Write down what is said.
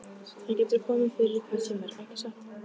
Það getur komið fyrir hvern sem er, ekki satt?